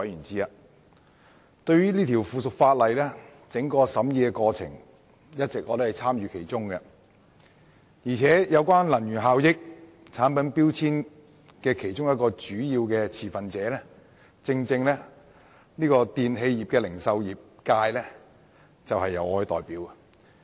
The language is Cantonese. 這項附屬法例的審議過程，我一直有參與其中，而作為能源效益產品標籤的其中一個主要持份者的電器零售業界，正是由我代表。